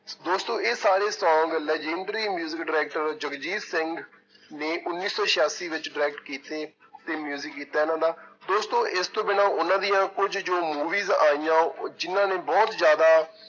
ਦੋਸਤੋ ਇਹ ਸਾਰੇ song legendary music director Jagjit Singh ਨੇ ਉੱਨੀ ਸੌ ਸਿਆਸੀ ਵਿੱਚ direct ਕੀਤੇ ਤੇ music ਕੀਤਾ ਇਹਨਾਂ ਦਾ, ਦੋਸਤੋ ਇਸਤੋਂ ਬਿਨਾਂ ਉਹਨਾਂ ਦੀ ਕੁੱਝ ਜੋ movies ਆਈਆਂ ਜਿੰਨਾਂ ਨੇ ਬਹੁੁਤ ਜ਼ਿਆਦਾ